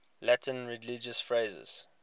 latin religious phrases